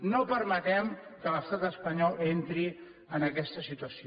no permetem que l’estat espanyol entri en aquesta situació